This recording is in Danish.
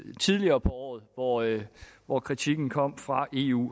tidligere på året året hvor kritikken kom fra eu